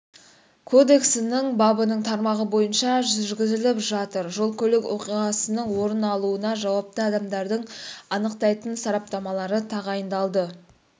кодексінің бабының тармағы бойынша жүргізіліп жатыр жол-көлік оқиғасының орын алуына жауапты адамдарды анықтайтын сараптамалар тағайындалды